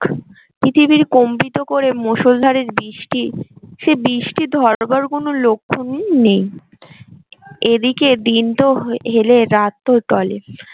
পৃথিবীর কম্বিত করে মুষল্ধারের বৃষ্টি সে বৃষ্টি ধরবার কোন লক্ষন নেই এদিকে দিন তো হেলে রাত তো টলে